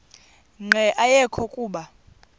nqe ayekho kuba